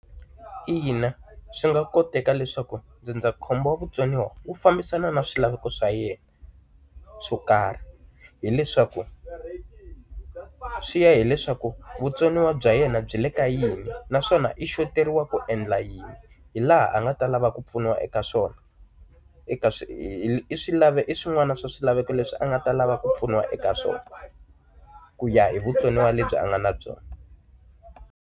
Ina swi nga koteka leswaku ndzindzakhombo wa vutsoniwa wu fambisana na swilaveko swa yena swo karhi. Hi leswaku, swi ya hileswaku vutsoniwa bya yena byi le ka yini na naswona i xoteriwa ku endla yini, hi laha a nga ta lava ku pfuniwa eka swona. Eka i swi i swin'wana swa swilaveko leswi a nga ta lava ku pfuniwa eka swona, ku ya hi vutsoniwa lebyi a nga na byona.